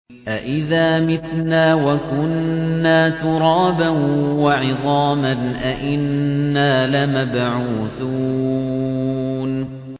أَإِذَا مِتْنَا وَكُنَّا تُرَابًا وَعِظَامًا أَإِنَّا لَمَبْعُوثُونَ